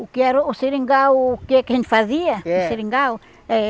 O que era o seringal, o que que a gente fazia? É. Com o seringal? Eh